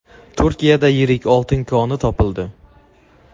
Turkiyada yirik oltin koni topildi.